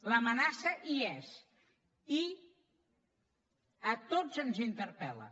l’amenaça hi és i a tots ens interpel·la